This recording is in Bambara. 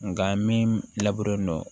Nka min laburelen do